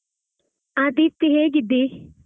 ಹಾ ದೀಪ್ತಿ ಹೇಗಿದ್ದೀ?